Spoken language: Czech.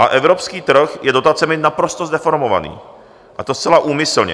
A evropský trh je dotacemi naprosto zdeformovaný a to zcela úmyslně.